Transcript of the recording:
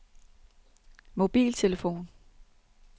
mobiltelefon